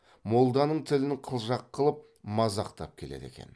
молданың тілін қылжақ қылып мазақтап келеді екен